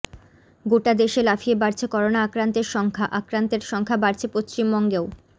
গোটা দেশে লাফিয়ে বাড়ছে করোনা আক্রান্তের সংখ্যা আক্রান্তের সংখ্যা বাড়ছে পশ্চিমবঙ্গেও